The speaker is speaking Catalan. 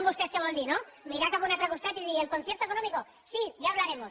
què vol dir no mirar cap a un altre costat i dir el concierto económico sí ya hablaremos